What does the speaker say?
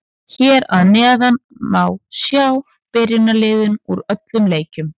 Hér að neðan má sjá byrjunarliðin úr öllum leikjunum.